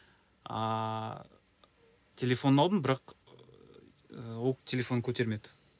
ааа телефонын алдым бірақ ы ол телефонын көтермеді